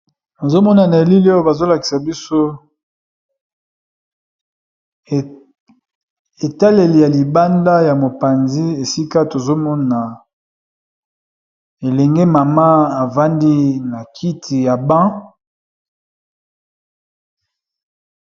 Nazomona na elile oyo bazolakisa biso etaleli ya libanda ya mopanzi esika tozomona elenge mama afandi na kiti ya banc.